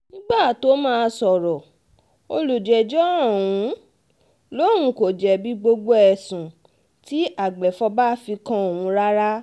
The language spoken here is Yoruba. nígbà tóo máa sọ̀rọ̀ olùjẹ́jọ́ um lòun kò jẹ̀bi gbogbo ẹ̀sùn um tí agbèfọ́ba fi kan òun rárá